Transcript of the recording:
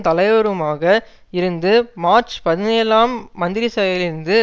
தலைவருமாக இருந்தும் மார்ச் பதினேழாம் தேதி மந்திரிசபையிலிருந்து